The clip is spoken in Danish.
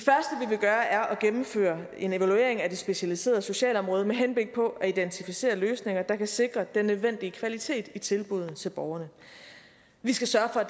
gøre er at gennemføre en evaluering af det specialiserede socialeområde med henblik på at identificere løsninger der kan sikre den nødvendige kvalitet i tilbuddene til borgerne vi skal sørge for